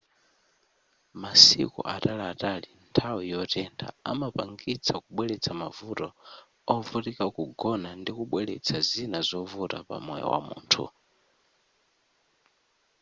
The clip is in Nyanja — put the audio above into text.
masiku ataliatali nthawi yotentha amapangitsa kubweletsa mavuto ovutika kugona ndikubweletsa zina zovuta pamoyo wamunthu